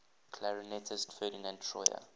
clarinetist ferdinand troyer